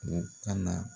U ka na